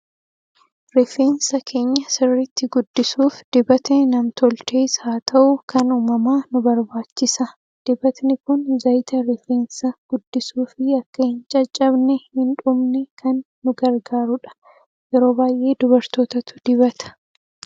Rifeensa keenya sirriitti guddisuuf dibatni nam tolchees haa ta'u, kan uumamaa nu barbaachisa. Dibatni kun zayita rifeensa guddisuu fi akka hin caccabee hin dhumne kan nu gargaarudha. Yeroo baay'ee dubartootatu dibata.